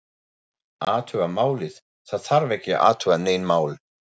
Athuga málið, það þarf ekki að athuga nein mál